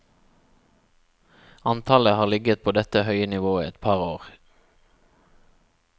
Antallet har ligget på dette høye nivået et par år.